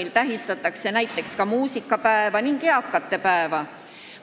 mil tähistatakse näiteks ka muusikapäeva ning eakate päeva.